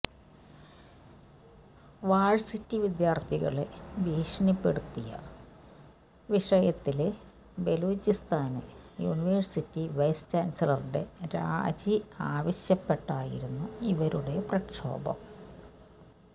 varsity വിദ്യാര്ത്ഥികളെ ഭീഷണിപ്പെടുത്തിയ വിഷയത്തില് ബലോചിസ്താന് യൂണിവേഴ്സിറ്റി വൈസ് ചാന്സലറുടെ രാജി ആവശ്യപ്പെട്ടായിരുന്നു ഇവരുടെ പ്രക്ഷോഭം